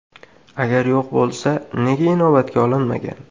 Agar yo‘q bo‘lsa, nega inobatga olinmagan?